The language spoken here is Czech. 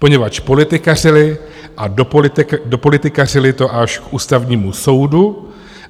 Poněvadž politikařili a dopolitikařili to až k Ústavnímu soudu.